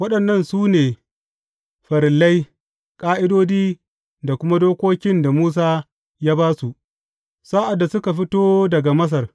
Waɗannan su ne farillai, ƙa’idodi da kuma dokokin da Musa ya ba su, sa’ad da suka fito daga Masar.